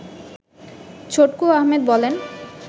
ছটকু আহমেদ বলেন